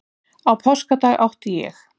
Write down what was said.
Á páskadag átti ég